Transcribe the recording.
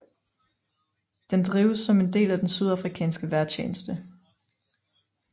Den drives som en del af den sydafrikanske vejrtjeneste